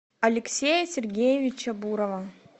алексея сергеевича бурова